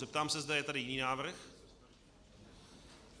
Zeptám se, zda je tady jiný návrh.